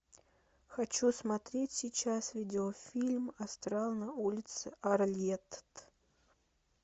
хочу смотреть сейчас видеофильм астрал на улице арлетт